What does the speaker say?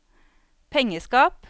pengeskap